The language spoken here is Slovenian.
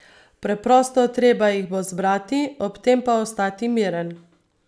Preprosto, treba jih bo zbrati, ob tem pa ostati miren.